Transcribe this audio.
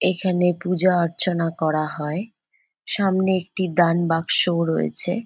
এইখানে পূজা অর্চনা করে হয়। সামনে একটি দান বাক্স ও রয়েছে।